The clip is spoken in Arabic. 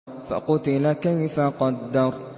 فَقُتِلَ كَيْفَ قَدَّرَ